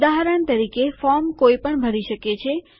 ઉદાહરણ તરીકે ફોર્મ કોઇ પણ ભરી શકે છે